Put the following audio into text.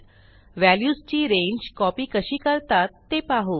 व्हॅल्यूजची रांगे कॉपी कशी करतात ते पाहू